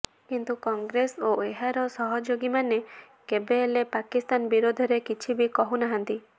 କିନ୍ତୁ କଂଗ୍ରେସ ଓ ଏହାର ସହଯୋଗୀମାନେ କେବେ ହେଲେ ପାକିସ୍ତାନ ବିରୋଧରେ କିଛି ବି କହୁନାହାନ୍ତି